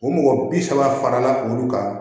O mɔgɔ bi saba fara la olu kan